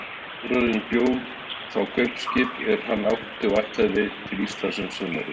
Þórarinn bjó þá kaupskip er hann átti og ætlaði til Íslands um sumarið.